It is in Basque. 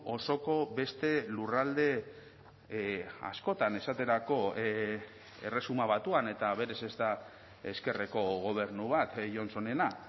osoko beste lurralde askotan esaterako erresuma batuan eta berez ez da ezkerreko gobernu bat johnsonena